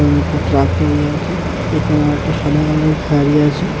আছে ।